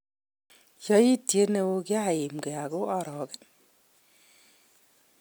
Yoityit neo'kiaimge oko orogen.